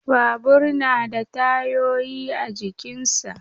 Babur da na da tayoyi a jikinsa